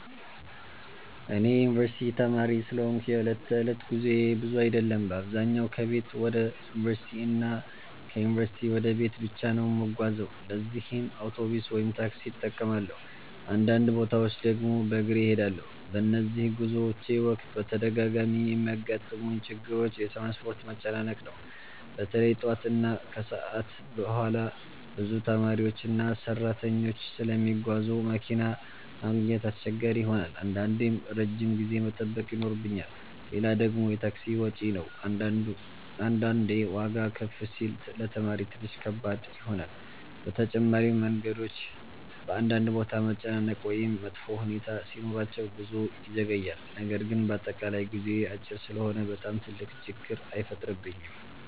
እኔ የዩንቨርሲቲ ተማሪ ስለሆንኩ የዕለት ተዕለት ጉዞዬ ብዙ አይደለም። በአብዛኛው ከቤት ወደ ዩንቨርሲቲ እና ከዩንቨርሲቲ ወደ ቤት ብቻ ነው የምጓዘው ለዚህም አውቶቡስ ወይም ታክሲ እጠቀማለሁ፣ አንዳንድ ቦታዎች ድግም በግሬ እሄዳለሁ። በነዚህ ጉዞዎቼ ወቅት በተደጋጋሚ የሚያጋጥሙኝ ችግሮች የትራንስፖርት መጨናነቅ ነው። በተለይ ጠዋት እና ከሰዓት በኋላ ብዙ ተማሪዎችና ሰራተኞች ስለሚጓዙ መኪና ማግኘት አስቸጋሪ ይሆናል አንዳንዴም ረጅም ጊዜ መጠበቅ ይኖርብኛል። ሌላ ደግሞ የታክሲ ወጪ ነው አንዳንዴ ዋጋ ከፍ ሲል ለተማሪ ትንሽ ከባድ ይሆናል። በተጨማሪም መንገዶች በአንዳንድ ቦታ መጨናነቅ ወይም መጥፎ ሁኔታ ሲኖራቸው ጉዞ ይዘገያል። ነገር ግን በአጠቃላይ ጉዞዬ አጭር ስለሆነ በጣም ትልቅ ችግር አይፈጥርብኝም።